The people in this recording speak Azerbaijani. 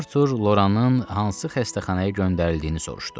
Arthur Loranın hansı xəstəxanaya göndərildiyini soruşdu.